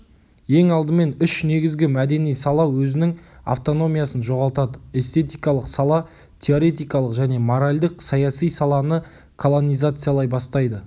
ең алдымен үш негізгі мәдени сала өзінің автономиясын жоғалтады эстетикалық сала теоретикалық және моральдық-саяси саланы колонизациялай бастайды